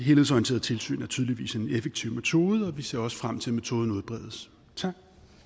helhedsorienteret tilsyn er tydeligvis en effektiv metode og vi ser også frem til at metoden udbredes tak